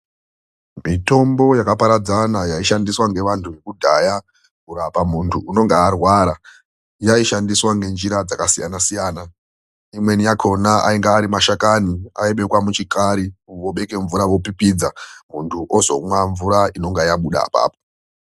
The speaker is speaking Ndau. Mitombo yakaparadzana ,yaishandiswa ngevanthu vekudhaya kurape munthu unenge arwara , yaishandiswa ngenjira dzakasiyana siyana. Imweni yakhona ainga ari mashakani ,aibekwa muchikari munthu opipidza ,munthu ozomwa mvura inenge yabuda apapo.